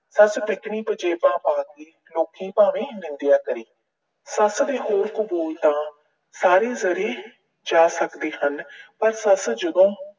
ਸੱਸ ਪੰਜੇਬਾਂ ਪਾਉਣ ਦੀ, ਲੋਕੀਂ ਭਾਵੇਂ ਨਿੰਦਿਆ ਕਰੇ। ਸੱਸ ਦੇ ਬੋਲ-ਕੁਬੋਲ ਤਾਂ ਸਾਰੇ ਜਰੇ ਜਾ ਸਕਦੇ ਹਨ, ਪਰ ਸੱਸ ਜਦੋਂ